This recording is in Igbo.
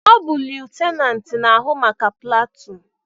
Ọ bu lutenanti n'ahụ maka platuun